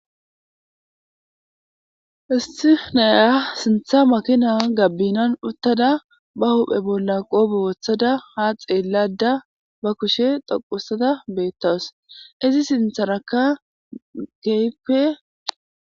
Istifnaya sintha makina gabbinan uttada ba huphe bolla qoobe wothada ha xeellada ba kushe toqusada beettaws izi sintharaka geype